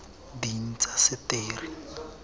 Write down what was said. diintaseteri